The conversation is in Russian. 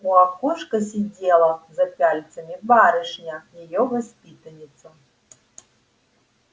у окошка сидела за пяльцами барышня её воспитанница